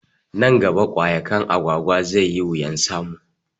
Nan gaba ƙwayaƙwan Agwagwa zai yi wuyan samu